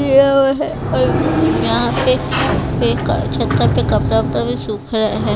किया हुआ है और यहाँ पे एक छत्ता पे कपड़ा कपड़ा भी सूख रहा है।